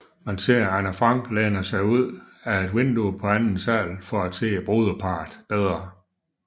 Man ser Anne Frank læne sig ud af et vindue på anden sal for at se brudeparret bedre